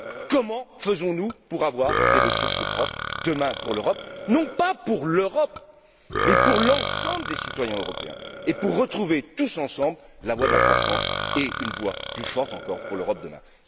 Comment faisons nous pour avoir des ressources propres demain pour l'Europe, ou plutôt pour l'ensemble des citoyens européens, et pour retrouver tous ensemble la voie de la croissance et une voie plus forte encore pour l'Europe de demain?